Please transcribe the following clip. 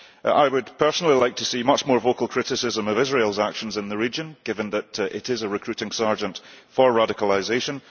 I would personally like to see much more vocal criticism of Israel's actions in the region, given that it is a recruiting sergeant for radicalisation.